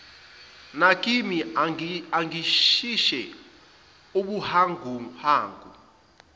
nakimi angishise ubuhanguhangu